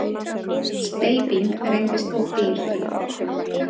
Steyping reynist of dýr.